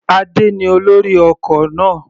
Adé ní olórí ọkọ̀ náà.